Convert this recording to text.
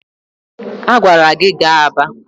A gwara gi gaa Aba!